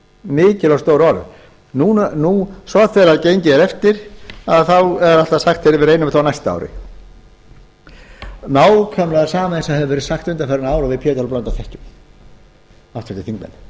mikil og stór orð svo þegar gengið er eftir er alltaf sagt við reynum þetta á næsta ári nákvæmlega það sama og hefur verið sagt undanfarin ár og við háttvirtir þingmenn pétur h blöndal þekkjum